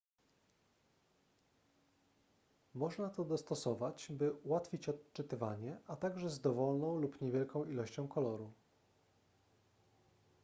można to dostosować by ułatwić odczytywanie a także z dowolną lub niewielką ilością koloru